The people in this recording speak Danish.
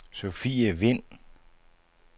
Sofie Vind